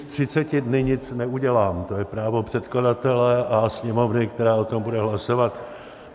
S třiceti dny nic neudělám, to je právo předkladatele a Sněmovny, která o tom bude hlasovat.